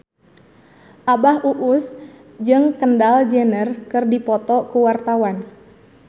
Abah Us Us jeung Kendall Jenner keur dipoto ku wartawan